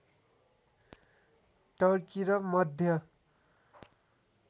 Turkey र मध्य